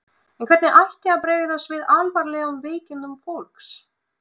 En hvernig ætti að bregðast við alvarlegum veikindum fólks?